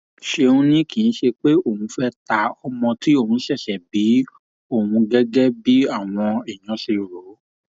ṣéun ni kì í ṣe pé òun fẹẹ ta ọmọ tí òun ṣẹṣẹ bí ohun gẹgẹ báwọn èèyàn ṣe rò